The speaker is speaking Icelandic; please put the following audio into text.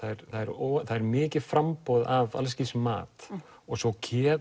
það er það er mikið framboð af mat og svo